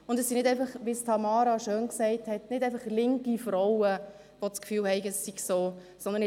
Es sind nicht einfach, wie es Tamara Funiciello so schön gesagt hat, linke Frauen, die das Gefühl haben, es sei so.